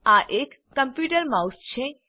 આ એક computer mouse છે